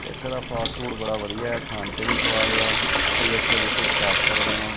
ਇੱਥੇ ਦਾ ਫਾਸਟਫੂਡ ਬੜਾ ਵਧੀਆ ਹੈ ਖਾਣ ਚ ਵੀ ਸੁਆਦ ਆ ਤੁਸੀਂ ਇੱਥੇ ਵਿਜ਼ਿਟ ਕਰ ਸਕਦੇਆਂ।